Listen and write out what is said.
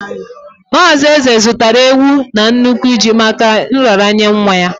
Mazị Eze zụtara ewu na n'nukwu ji maka nraranye nwa ya.